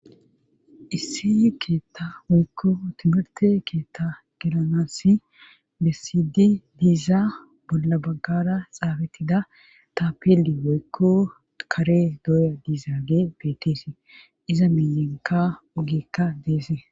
issi ketha woykko timirthe ketha gelanassi bessidi diza bolla baggara xaafethida tapelli woykko kare dooya diizage beetesi;iza miyenkka ogeka deesi.